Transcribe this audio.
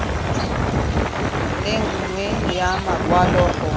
le nngwe ya makwalo go